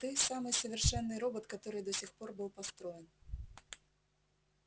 ты самый совершенный робот который до сих пор был построен